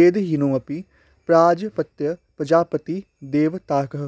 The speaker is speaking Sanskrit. वेदहीनोऽपि प्राजापत्यः प्रजापतिदेवताकः